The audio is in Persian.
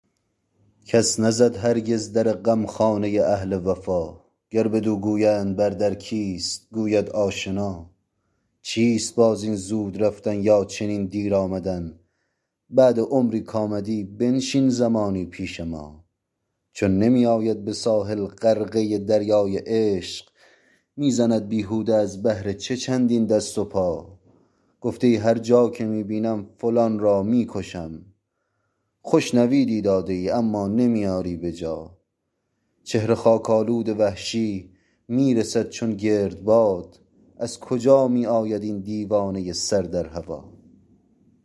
کس نزد هرگز در غمخانه اهل وفا گر بدو گویند بر در کیست گوید آشنا چیست باز این زود رفتن یا چنین دیر آمدن بعد عمری کامدی بنشین زمانی پیش ما چون نمی آید به ساحل غرقه دریای عشق می زند بیهوده از بهر چه چندین دست و پا گفته ای هر جا که می بینم فلان را می کشم خوش نویدی داده ای اما نمی آری بجا چهره خاک آلود وحشی می رسد چون گرد باد از کجا می آید این دیوانه سر در هوا